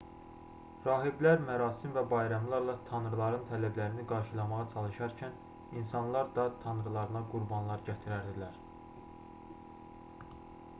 rahiblər mərasim və bayramlarla tanrıların tələblərini qarşılamağa çalışarkən insanlar da tanrılarına qurbanlar gətirərdilər